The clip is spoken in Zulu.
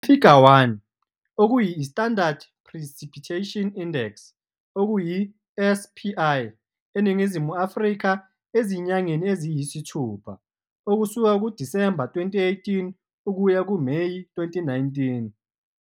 Ifiga 1- I-Standard precipitation index, SPI, eNingizimu Afrika ezinyangeni eziyisithupha, Disemba 2018-Meyi 2019.